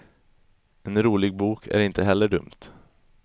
En rolig bok är inte heller dumt.